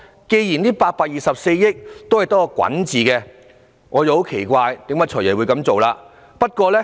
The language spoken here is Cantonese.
既然這824億元只是用作滾存，我便很奇怪"財爺"今次的做法。